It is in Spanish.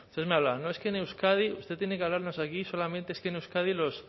entonces me hablaba no es que en euskadi usted tiene que hablarnos aquí solamente es que en euskadi los